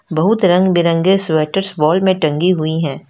बहुत रंग बिरंगे स्वेटर्स मॉल में टंगी हुई हैं।